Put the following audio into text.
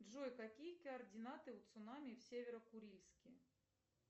джой какие координаты у цунами в северокурильске